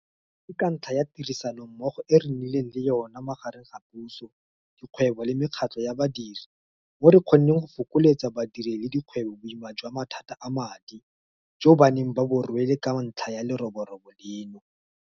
Ke ka ntlha ya tirisanommogo e re nnileng le yona magareng ga puso, dikgwebo le mekgatlho ya badiri mo re kgonneng go fokoletsa badiri le dikgwebo boima jwa mathata a madi jo ba neng ba bo rwele ka ntlha ya leroborobo leno.